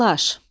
Təlaş.